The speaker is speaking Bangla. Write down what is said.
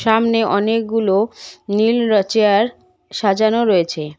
সামনে অনেকগুলো নীল র চেয়ার সাজানো রয়েছে।